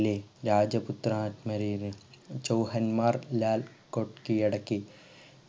ലെ രാജപുത്രാറ്മാരെല് ചോഹന്മാർ ലാൽ കൊട്ട് കീഴടക്കി